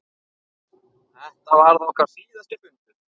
Þetta varð okkar síðasti fundur.